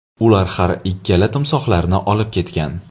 Ular har ikkala timsohlarni olib ketgan.